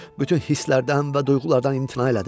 Bütün hisslərdən və duyğulardan imtina elədim.